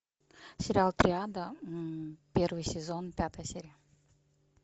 сериал триада первый сезон пятая серия